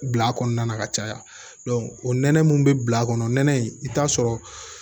Bil'a kɔnɔna na ka caya o nɛnɛ mun be bila a kɔnɔ nɛnɛ in i be taa sɔrɔ